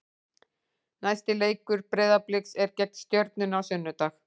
Næsti leikur Breiðabliks er gegn Stjörnunni á sunnudag.